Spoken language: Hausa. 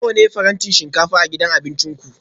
Nawa ne farantin shinkafa a gidan abincin ku?